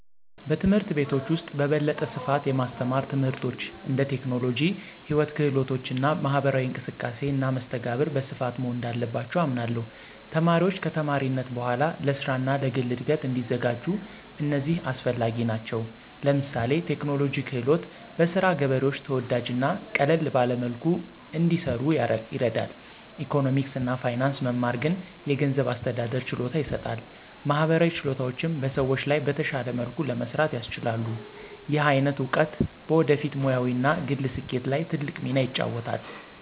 በትምህርት ቤቶች ውስጥ በበለጠ ስፋት የማስተማር ትምህርቶች እንደ ቴክኖሎጂ፣ ሕይወት ክህሎቶች እና ማህበራዊ እንቅስቃሴ እና መስተጋብር በስፋት መሆን እንዳለባቸው አምናለሁ። ተማሪዎች ከተማሪነት በኋላ ለስራ እና ለግል እድገት እንዲዘጋጁ እነዚህ አስፈላጊ ናቸው። ለምሳሌ ቴክኖሎጂ ክህሎት በስራ ገበሬዎች ተወዳጅ እና ቀለል ባለ መልኩ እንዲሰኑ ይረዳል፣ ኢኮኖሚክስ እና ፋይናንስ መማር ግን የገንዘብ አስተዳደር ችሎታ ይሰጣል፣ ማህበራዊ ችሎታዎችም በሰዎች ጋር በተሻለ መልኩ ለመስራት ያስችላሉ። ይህ አይነት እውቀት በወደፊት ሙያዊ እና ግል ስኬት ላይ ትልቅ ሚና ይጫወታል።